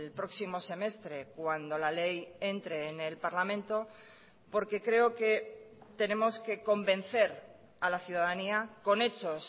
próximo semestre cuando la ley entre en el parlamento porque creo que tenemos que convencer a la ciudadanía con hechos